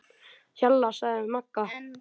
Hjalla, sagði Magga.